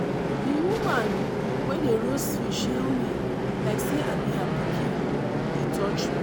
di woman wey dey roast fish hail me like say i be her pikin - e touch me